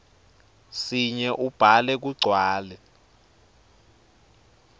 sinye ubhale kugcwale